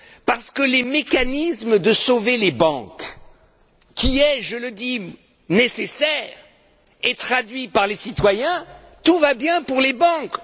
parce que les mécanismes de sauvetage des banques, qui sont, je le dis, nécessaires, veulent dire, pour les citoyens, tout va bien pour les banques.